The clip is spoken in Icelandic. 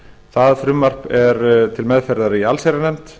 það frumvarp er til meðferðar í allsherjarnefnd